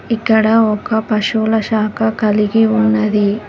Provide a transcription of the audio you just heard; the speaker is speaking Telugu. ఇక్కడ ఒక పశువుల శాఖ కలిగి ఉన్నది.